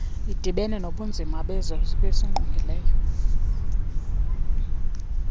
idibene nobunzima bezokusingqongileyo